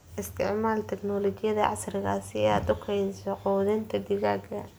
Isticmaal tignoolajiyada casriga ah si aad u kaydiso quudinta digaagga.